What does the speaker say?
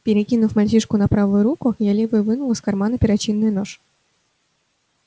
перекинув мальчишку на правую руку я левой вынул из кармана перочинный нож